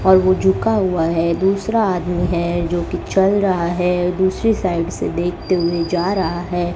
और वो झुका हुआ है दूसरा आदमी है जो की चल रहा है दूसरी साइड से देखते हुए जा रहा है।